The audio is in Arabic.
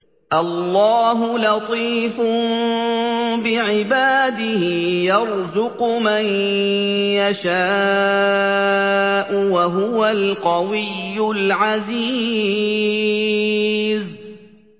اللَّهُ لَطِيفٌ بِعِبَادِهِ يَرْزُقُ مَن يَشَاءُ ۖ وَهُوَ الْقَوِيُّ الْعَزِيزُ